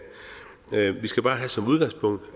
vi skal bare have som udgangspunkt